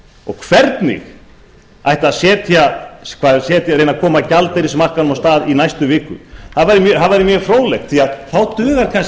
og hvernig ætti að reyna að koma gjaldeyrismarkaðnum á stað í næstu viku það væri mjög fróðlegt því að þá dugar kannski ekki þegar verið er